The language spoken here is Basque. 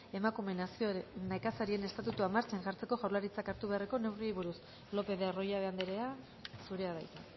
emakume nekazarien estatutua martxan jartzeko jaurlaritzak hartu beharreko neurriei buruz lopez de arroyabe andrea zurea da hitza